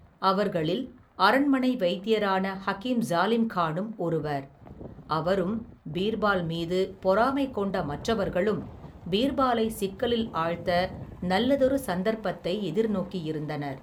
அவர்களில், அரண்மனை வைத்தியரான, ஹகீம் ஜாலிம்கானும், ஒருவர் அவரும் பீர்பால் மீது பொறாமை கொண்ட மற்றவர்களும், பீர்பாலை சிக்கலில் ஆழ்த்த நல்லதொரு சந்தர்பத்தை, எதிர் நோக்கியிருந்தனர்.